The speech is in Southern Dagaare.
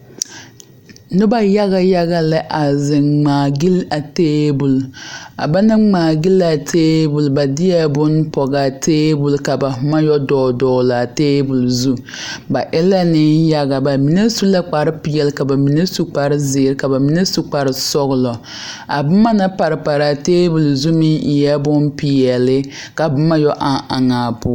Noba yaga yaga la a ziŋ ŋmaa gyil a table a ba naŋ ŋmaa gyil a table ba de la bonne a pɔge a table ka ba boma yɛ dogle dogle a table zu ba e la nenyaga ba mine su la kparepeɛle ka ba mine su kparezeere ka ba mine su kparesɔglɔ a boma naŋ pare pare a table zu meŋ e la bonpeɛle ka boma yɛ eŋ eŋ a poɔ.